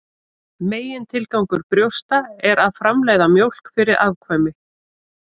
Megintilgangur brjósta er að framleiða mjólk fyrir afkvæmi.